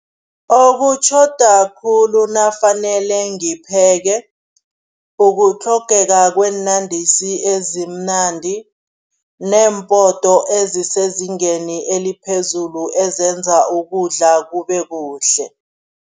Okutjhoda khulu nafanele ngipheke, ukutlhogeka kweenandisi ezimnandi neempoto ezisezingeni eliphezulu ezenza ukudla kube kuhle.